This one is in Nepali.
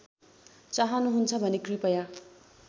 चाहनुहुन्छ भने कृपया